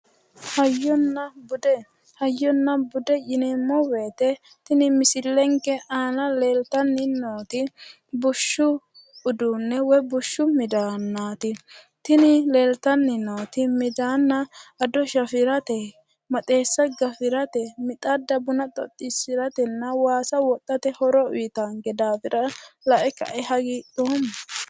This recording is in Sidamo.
Hayyonna bude, hayyonna bude yineemmo woyite tini misilenke aana leeltanni nooti bushshu uduunne woyi bushshu midaannaati tini leeltanni nooti midaaanna ado shafirate maxeessa gafirate mixadda buna xoxxiisiratenna waasa wodhate horo uuyitaanke daafira lae kae hagiidhoomma".